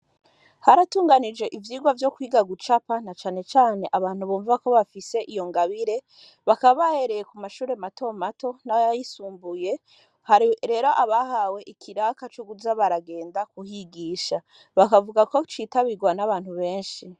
Hararunganijwe, ivyigwa, vyo kwiga gucapa, na cane cane, abantu bumva ko bafise iyo ngabire; bakaba, bahereye ku mashure mato mato, n'ayisumbuye; hari rero, abahawe ikiraka, co kuza baragenda, kuhigisha; bakavuga ko, citabirwa n'abantu benshi.